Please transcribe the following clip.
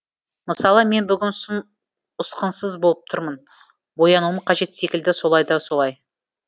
мысалы мен бүгін сұм ұсқынсыз болып тұрмын боянуым қажет секілді солай да солай